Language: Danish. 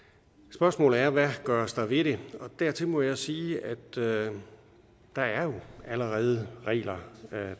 spørgsmålet er hvad der gøres ved det og dertil må jeg sige at der jo allerede er regler